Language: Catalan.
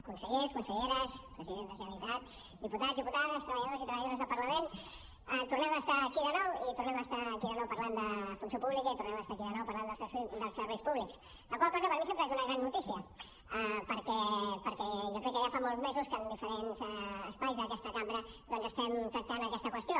consellers conselleres president de la generalitat diputats diputades treballadors i treballadores del parlament tornem a estar aquí de nou i tornem a estar aquí de nou parlant de funció pública i tornem a estar aquí de nou parlant dels serveis públics la qual cosa per mi sempre és una gran notícia perquè jo crec que ja fa molts mesos que en diferents espais d’aquesta cambra estem tractant aquesta qüestió